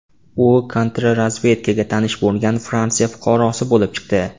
U kontrrazvedkaga tanish bo‘lgan Fransiya fuqarosi bo‘lib chiqdi.